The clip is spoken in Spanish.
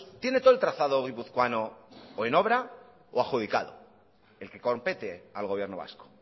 tiene todo el trazado guipuzcoano o en obra o adjudicado el que compete al gobierno vasco